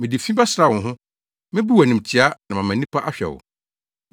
Mede fi bɛsra wo ho, mebu wo animtiaa na mama nnipa ahwɛ wo.